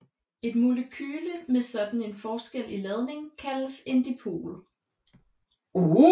Et molekyle med sådan en forskel i ladning kaldes en dipol